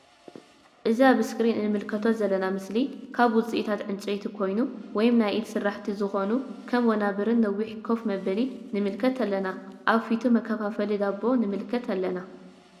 እዚ ኣብ እስክሪን እንምልከቶ ዘለና ምስሊ ካብ ውጺእታት ዕንጨይቲ ዝኮነ ወይም ናይ ኢድ ስራሕቲ ዝኮኑ ከም ወናበር ነዊሕ ከፍ መበሊ ንምልከት ኣለና። ኣብ ፊቱ መከፋፈሊ ዳቦ ንምልከት ኣለና።